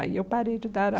Aí eu parei de dar